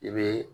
I bɛ